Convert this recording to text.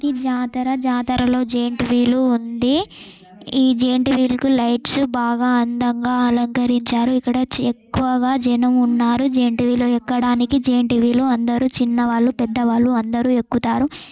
ఇది జాతర జాతరలో జైంటు వీలూ ఉంది ఈ జైంటు వీల్ కు లైట్స్ బాగా అందంగా అలకరించారు .ఇక్కడ ఎక్కువగా జనం ఉన్నారు .జైంటు వీల్ ఎక్కడానికి జైన్టు వీలు అందరూ చిన్న వాళ్ళు పెద్ద వాళ్ళు అందరూ ఎక్కుతారు .